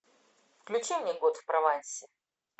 включи мне год в провансе